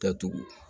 Datugu